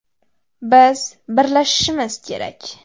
Biz birlashishimiz kerak.